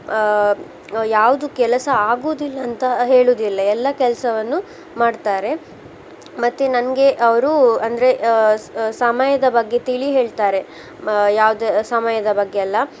ಆ ಯಾವ್ದು ಕೆಲಸ ಆಗುದಿಲ್ಲ ಅಂತ ಹೇಳುದಿಲ್ಲ ಎಲ್ಲ ಕೆಲ್ಸವನ್ನು ಮಾಡ್ತಾರೆ. ಮತ್ತೆ ನನ್ಗೆ ಅವ್ರು ಅಂದ್ರೆ ಆ ಸ~ ಸಮಯದ ಬಗ್ಗೆ ತಿಳಿ ಹೇಳ್ತಾರೆ ಮ~ ಯಾವ್ದೆ ಸಮಯದ ಬಗ್ಗೆಯೆಲ್ಲಾ